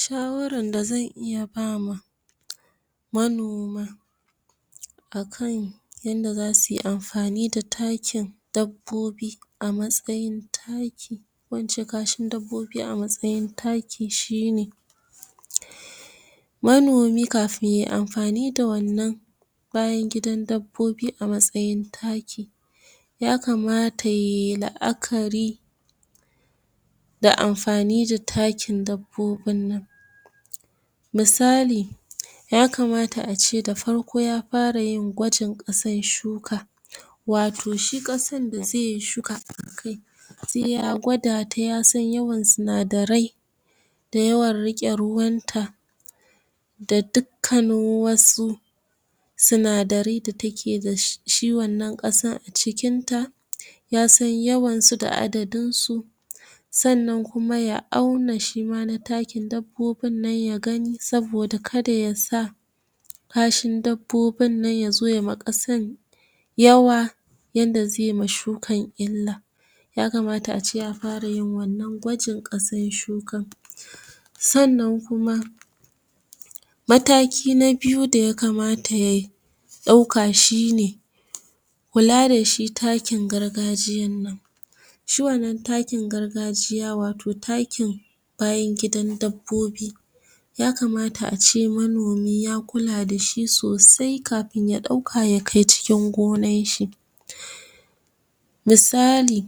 Shawaran da zan iya ba manoma a kan yanda za suyi amfani da takin dabbobi, a matsayin takin ko in ce takin dabbobi a matsayin taki, shine: manomi kafin yai amfani da wannan bayan dabbobi a matsayin taki, ya kamata yai la'akari da amfani da takin dabbobin nan, musali: ya kamat a ce da farko ya fara yin gwajin ƙasan shuka, wato shi ƙasan da zaiyi shuka a kai, se ya gwada ta ya san yawan sinadarai, da yawan riƙe ruwanta, da dukkanin wasu sinadari da take da shi wannan ƙasan a cikin ta, ya san yawan su da adadin su. Sannan kuma ya auna shima na takin dabbobin nan ya gani, saboda kada ya sa kashin dabbobin nan yazo yai ma ƙasan yawa, yanda ze ma shukan illa, ya kamata a ce ya fara yin wannan gwajin ƙasan shukan. Sannan kuma mataki na biyu da ya kamata ya ɗauka shine: kula da shi takin gargajiyan nan. Shi wannan takin gargajiya, wato takin bayan gidan dabbobi. Ya kamata a ce manomi ya kula dashi sosai, kafin ya ɗauka ya kai cikin gonan shi. Musali: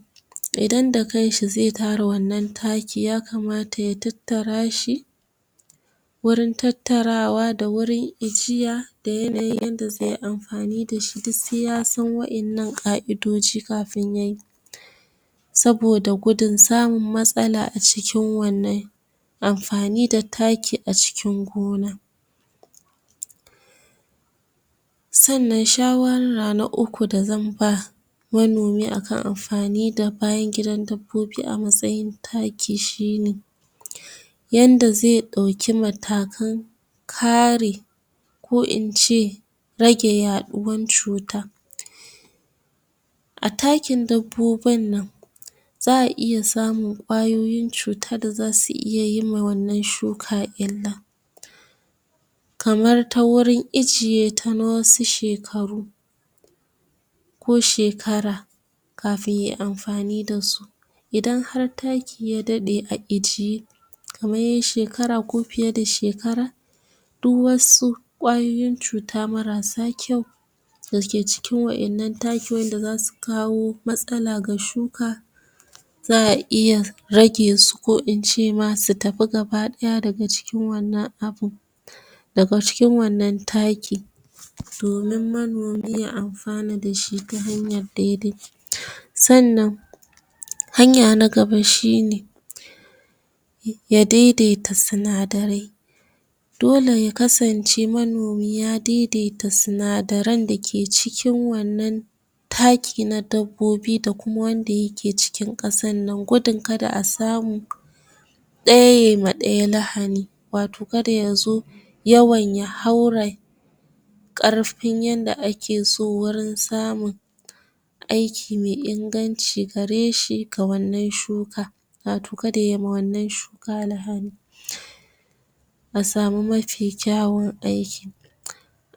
idan da kan shi zai tara wannan taki ya kamata ya tattara shi, wurin tattarawa da wurin ijiya, da yanayin yanda zai amfani dashi, du sai ya san wa'innan ƙa'idoji kafin yayi. Saboda gudun samun matsala a cikin wannan amfani da taki a cikin gona. Sannan shawara na uku da zan ba manoma a kan amfani da bayan gidan dabbobi, a matsayin taki shine: yanda ze ɗauki matakan ka re ko in ce rage yaɗuwan cuta. A takin dabbobun nan, za a iya samun ƙwayoyin cuta da zasu iya yi ma wannan shuka illa, kamar ta wurin ijiye ta na wasu shekaru, ko shekara, kafin yay amfani da su. Idan har taki ya daɗe a ijiye, kamar yay shejara ko fiye da shekara, du wasu ƙwayoyin cuta marasa kyau da ke cikin wa'innan taki, wanda zasu kawo matsala ga shuka, za a iya rage su, ko in ce ma su tafi gaba ɗaya daga cikin wannan abun daga cikin wannan taki, domin manomi ya amfana dashi ta hanyan dai-dai. Sannan hanya na gaba shine, ya daidaita sinadarai, dole ya kasance manomi ya daidaita sinadaran da ke cikin wannan taki na dabbobi, da kuma wanda ya ke cikin ƙasan nan, gudun kada samu ɗaya yay ma ɗaya lahani, wato kada ya zo yawan ya haura ƙarfin yadda ake so, wurin samun aiki me inganci gareshi ga wannan shuka, wato kada yay ma wannan shuka lahani, a samu mafi kyawun aiki.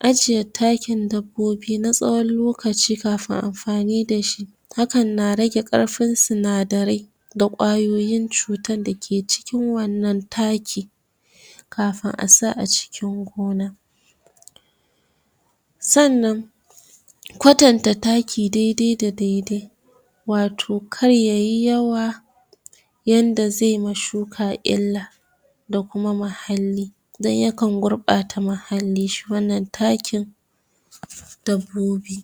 Ajiye takin dabbobi na tsawon lokaci kafin amfani dashi, hakan na rage ƙarfin sinadarai, da ƙwayoyin cutan da ke cikin wannan taki, kafun a sa a cikin gona. Sannan, kwatanta taki dai-dai da dai-dai, wato kar yayi yawa yanda zai ma shuka illa, da kuma mahalli. Dan ya kan gurɓata mahhali shi wannan takin dabbobi.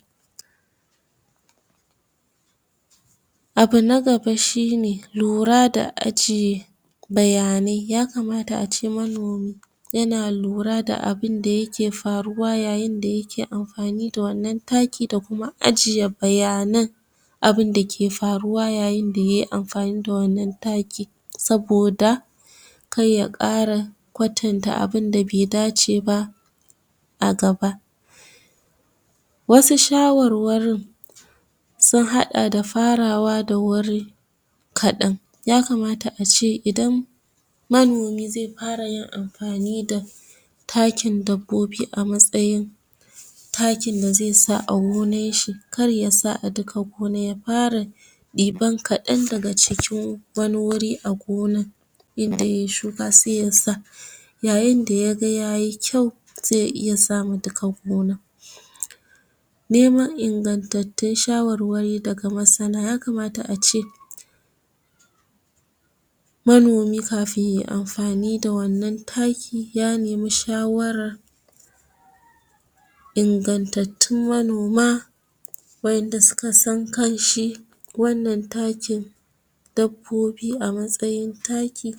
Abu na gaba shine lura da ajiye bayanai, ya kamata a ce manomi yana lura da abunda yake faruwa yayin da yike amfani da wannan taki, da kuma ajiye bayanan abun ke faruwa yayin da yay amfani da wannan taki, saboda kay ya ƙara kwatanta abunda be dace ba a gaba. Wasu shawarwarin sun haɗa da, farawa da wuri kaɗan. Ya kamata a ce idan manomi zai fara yin amfani da takin dabbobi a matsayin takin da zai sa a gonan shi, kar yasa a duka gonan, ya fara ɗiban kaɗan daga cikin wani wuri inda yay shuka, sai ya sa. Yayin da yaga yayi, sai ya iya sa ma duka gonan. Neman ingantattutn shawarwari daga masana, ya kamata a ce manomi kafin yay amfani da wannan taki, ya nemi shawarar ingantattun manoma, wa'inda suka san kan shi wannan takin dabbobi a matsayin taki,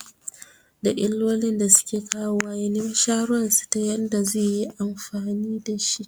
da illolin da suke kawowa, ya nemi shawaran su ta yanda zai yi amfani dashi.